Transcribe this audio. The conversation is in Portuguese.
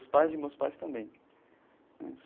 Os pais de meus pais também.